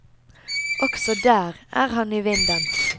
Også der er han i vinden.